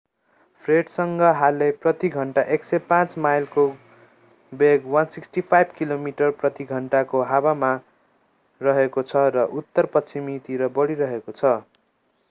फ्रेडसँग हालै प्रति घण्टा 105 माइलको वेग 165 किमी/ घण्टा को हावा रहेको छ र उत्तर पश्चिम तिर बढिरहेको छ।